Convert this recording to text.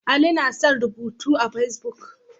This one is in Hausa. Ali yana son yin rubutu a Fesbuk.